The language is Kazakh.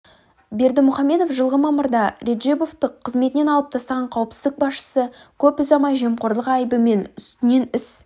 бердімұхаммедов жылғы мамырда реджебовті қызметінен алып тастаған қауіпсіздік басшысы көп ұзамай жемқорлық айыбымен үстінен іс